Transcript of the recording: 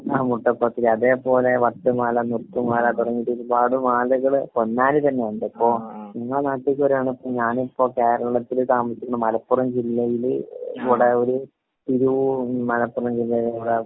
ആ മുട്ട പത്തിരി. അതേപോലെ വട്ട് മാല മുത്ത് മാല തുടങ്ങിട്ട് ഒരുപാട് മാലകള് പൊന്നാനി തന്നെ ഉണ്ട്. അപ്പൊ ഇങ്ങളെ നാട്ടിക്ക് വരാണ്. ഞാൻ ഇപ്പൊ താമസിക്കുന്ന മലപ്പുറം ജില്ലയില് വടയൂരു മലപ്പുറം ജില്ലയിലുള്ള